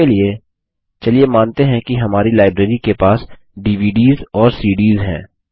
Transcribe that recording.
इसके लिए मानते हैं कि हमारी लाइब्रेरी के पास डीवीडीएस और सीडीएस हैं